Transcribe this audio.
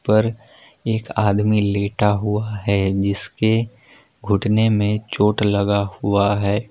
पर एक आदमी लेटा हुआ है जिसके घुटने में चोट लगा हुआ है।